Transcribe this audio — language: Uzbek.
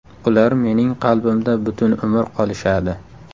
Ular mening qalbimda butun umr qolishadi.